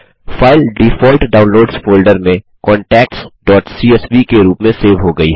file default downloads folder में contactsसीएसवी के रूप में सेव हो गयी है